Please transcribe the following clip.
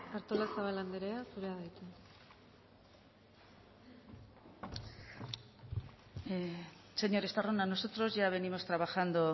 artolazabal andrea zurea da hitza señor estarrona nosotros ya venimos trabajando